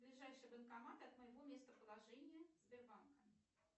ближайший банкомат от моего местоположения сбербанка